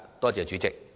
多謝主席。